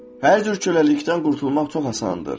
Hər cür köləlikdən qurtulmaq çox asandır.